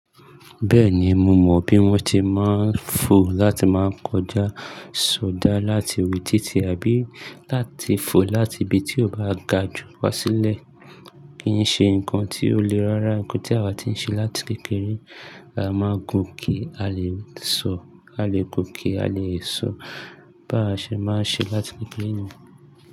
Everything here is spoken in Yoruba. Bẹ́ẹ̀ni, mo mọ bí wọ́n ti máa ń fo láti máa ń kọjá, sọdá láti ibi títí àbí láti fo láti ibi tí ó bá ga jù wá sílẹ̀. Kìí ṣe nǹkan tí ó lè rárá, nǹkan tí àwa ti ń ṣe láti kékeré. A máa gun ki a lè sọ, a lè gun ki a lè sọ, bá ṣe máa ń ṣe láti kékeré ni.